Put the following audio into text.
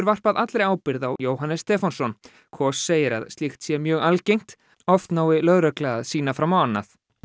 varpað allri ábyrgð á Jóhannes Stefánsson segir að slíkt sé mjög algengt oft nái lögregla að sýna fram á annað